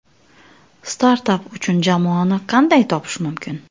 Startap uchun jamoani qanday topish mumkin?.